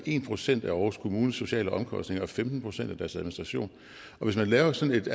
en procent af aarhus kommunes sociale omkostninger og femten procent af deres administration og hvis man laver sådan et